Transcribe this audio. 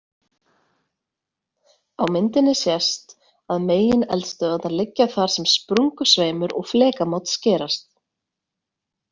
Á myndinni sést að megineldstöðvarnar liggja þar sem sprungusveimur og flekamót skerast.